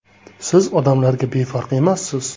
Siz odamlarga befarq emassiz.